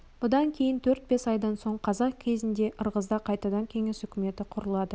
бұдан кейін төрт-бес айдан соң қазан кезінде ырғызда қайтадан кеңес үкіметі құрылады